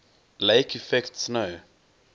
lake effect snow